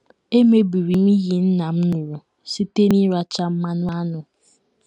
Emebiri m iyi nna m ṅụrụ site n’ịracha mmanụ aṅụ.